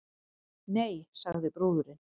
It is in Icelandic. Nei, sagði brúðurin.